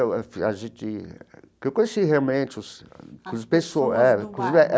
A gente... que eu conheci realmente os as pessoas é.